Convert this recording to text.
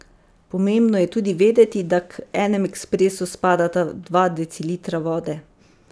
Pomembno je tudi vedeti, da k enem ekspresu spadata dva decilitra vode.